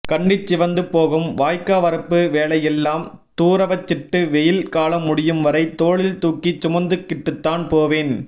கன்னிச் சிவந்து போகும் வாய்க்கா வரப்பு வேலையெல்லம் தூரவச்சிட்டு வெயில் காலம் முடியும் வரை தோளில் தூக்கி சுமந்துக்கிட்டுத்தான் போவேன்